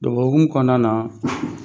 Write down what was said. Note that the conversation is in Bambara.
Dɔgɔkun kɔnɔna na